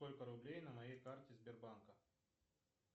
сколько рублей на моей карте сбербанка